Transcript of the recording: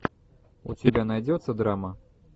у тебя найдется драма